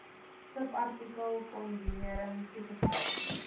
subartikel kondonering toegestaan